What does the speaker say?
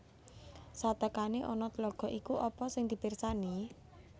Satekane ana tlaga iku apa sing dipersani